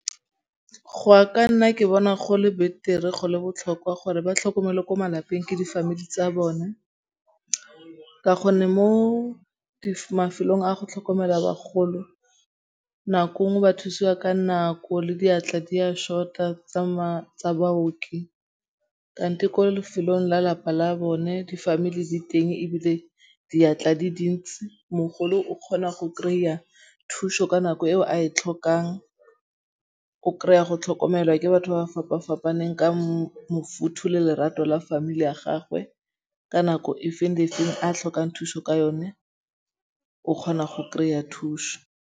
Go a ka nna ke bona go le betere go le botlhokwa gore ba tlhokomelwe ko malapeng ke di familie tsa bona ka gonne mo mafelong a go tlhokomela bagolo nako ngwe ba thusiwa ka nako le diatla di a short-a tsa baoki. Di ko lefelong la lapa la bone di-familie di teng ebile diatla di dintsi. Mogolo o kgona go kry-a thuso ka nako eo a e tlhokang. O kry-a go tlhokomelwa ke batho ba ba fapa-fapaneng ka bofuthu le lerato la familie ya gagwe ka nako e feng le e feng a tlhokang thuso ka yone o kgona go kry-a thuso.